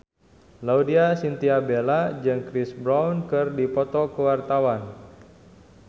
Laudya Chintya Bella jeung Chris Brown keur dipoto ku wartawan